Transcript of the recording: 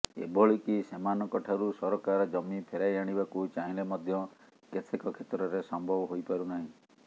ଏଭଳିକି ସେମାନଙ୍କଠାରୁ ସରକାର ଜମି ଫେରାଇ ଆଣିବାକୁ ଚାହିଁଲେ ମଧ୍ୟ କେତେକ କ୍ଷେତ୍ରରେ ସମ୍ଭବ ହୋଇପାରୁନାହିଁ